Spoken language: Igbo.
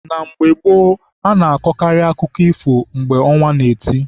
Na mgbe gboo, a na- akọkarị akụkọ ifo mgbe ọnwa na- eti.